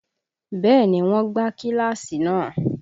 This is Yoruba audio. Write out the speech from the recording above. Bẹ́ẹ̀ni wọn gbá kíláàsì náà